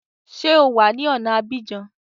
Ṣé o wà ní ọ̀na Abidjan?